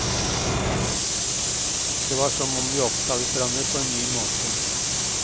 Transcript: Det var som om vi oppdaget hverandre på en ny måte.